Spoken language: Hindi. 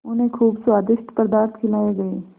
उन्हें खूब स्वादिष्ट पदार्थ खिलाये गये